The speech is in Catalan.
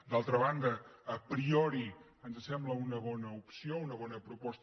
d’altra banda a priori ens sem·bla una bona opció una bona proposta